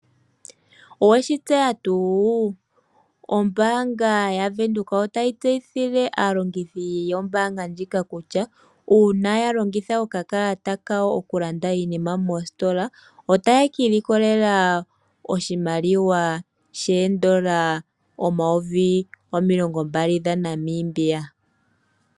Oweshi tseya tuu ombanga ya venduka otayi teeyithile aalongithi yombanga ndjika kutya, uuna ya longitha oka kalata oku landa iinima mostola, otaya ka iilikolela oshimaliwa sheendola omayovi gaali dha Namibia.